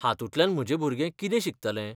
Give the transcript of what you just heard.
हांतूंतल्यान म्हजें भुरगें कितें शिकतलें?